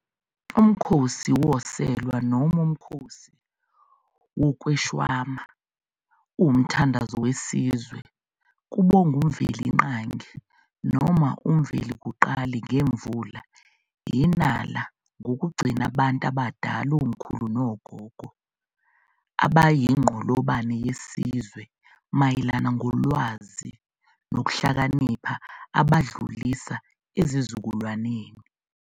UMkhosi woSelwa noma uMkhosi wokweShwama uwumthandazo wesizwe kubongwa uMvelingangi noma uMvelikuqali ngemvula, inala nokugcina abantu abadala, omkhulu nogogo, abayinqolobane yesizwe mayelana ngolwazi nokuhlakanipha abaludlisa esizikulwaneni.